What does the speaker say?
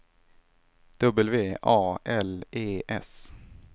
W A L E S